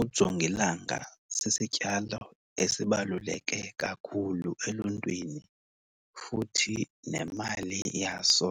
Ujongilanga sisityalo esibaluleke kakhulu eluntwini, futhi nemali yaso